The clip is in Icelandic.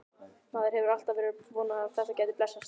Maður hefur alltaf verið að vona að þetta gæti blessast.